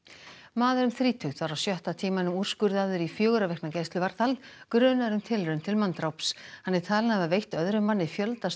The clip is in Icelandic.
maður um þrítugt var á sjötta tímanum úrskurðaður í fjögurra vikna gæsluvarðhald grunaður um tilraun til manndráps hann er talinn hafa veitt öðrum manni fjölda